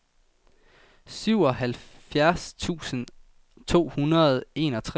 syvoghalvfjerds tusind to hundrede og enogtres